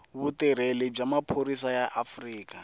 vutirheli bya maphorisa ya afrika